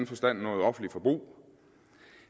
forstand noget offentligt forbrug